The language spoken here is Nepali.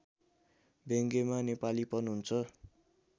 व्यङ्ग्यमा नेपालीपन हुन्छ